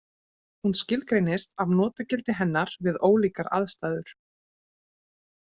Hún skilgreinist af notagildi hennar við ólíkar aðstæður.